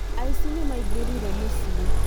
Aici nĩ maingĩrire mũcii